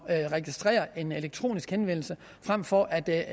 at registrere en elektronisk henvendelse frem for at lave